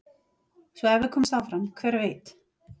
Svo ef við komumst áfram hver veit?